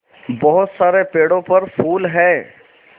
बहुत सारे पेड़ों पर फूल है